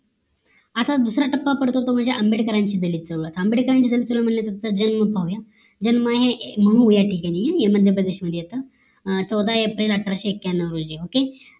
आता दुसरा टप्पा पडतो तो म्हणजे आंबेडकर यांची दलित चळवळ आंबेडकरांची दलित चळवळ म्हणजे त्यांचं जन्म पाहूया जन्म हे महू याठिकाणी हे मध्यप्रदेश मध्ये येत चौदा एप्रिल अठराशे एक्क्यांनाव